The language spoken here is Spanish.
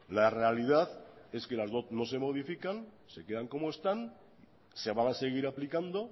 la realidad es que las dot no se modifican se quedan como están se van a seguir aplicando